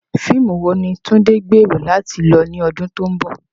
Fíìmù wo ni Tunde gbèrò láti lọ ní ọdún tó ń bọ̀?